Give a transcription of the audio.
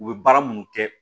U bɛ baara minnu kɛ